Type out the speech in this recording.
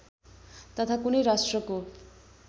तथा कुनै राष्ट्रको